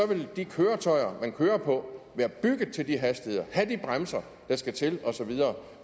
vil de køretøjer man kører på være bygget til de hastigheder have de bremser der skal til osv